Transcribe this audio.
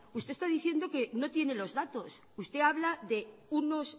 usted está diciendo que no tiene los datos usted habla de